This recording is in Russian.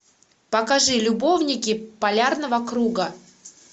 покажи любовники полярного круга